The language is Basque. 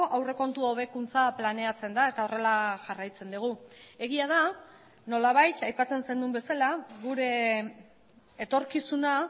aurrekontu hobekuntza planeatzen da eta horrela jarraitzen dugu egia da nolabait aipatzen zenuen bezala gure etorkizuna